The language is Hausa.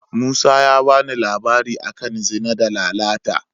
Musa ya ba ni labari a kan Zina da Lalata.